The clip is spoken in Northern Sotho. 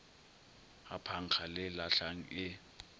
ga phankga le lahlang e